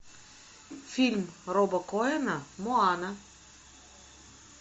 фильм роба коэна моана